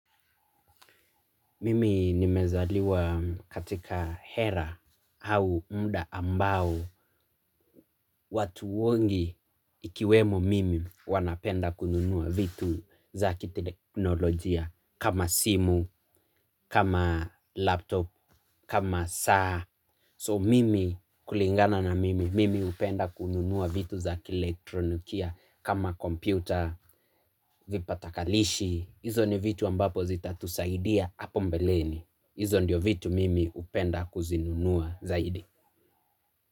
Mimi nimezaliwa katika era au muda ambao watu wengi ikiwemo mimi wanapenda kununua vitu za kiteknolojia kama simu, kama laptop, kama saa. So mimi kulingana na mimi, mimi hupenda kununua vitu za kielektronikia kama kompyuta vipatakalishi. Hizo ni vitu ambapo zitatusaidia hapo mbeleni hizo ndio vitu mimi hupenda kuzinunua zaidi.